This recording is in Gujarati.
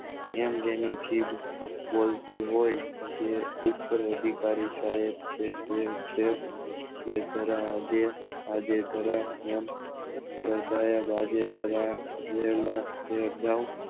એમ જેની જીભ બોલતી હોય તે ઉત્તર અધિકારી સાયદ છે તે છે એ આજે જરા વહેલા ઘરે જાઉં